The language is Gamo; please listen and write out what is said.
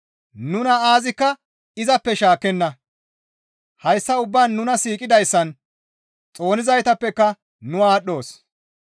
Nuna aazikka izappe shaakkenna; hayssa ubbaan nuna siiqidayssan xoonizaytappeka nu aadhdhoos.